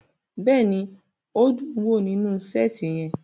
Bẹ́ẹ̀ni, o dun wo ninu seeti yẹn